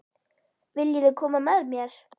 Viljiði koma með mér?